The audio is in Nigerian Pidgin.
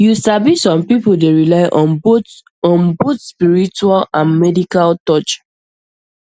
you sabi some people dey rely on both on both spiritual and medical touch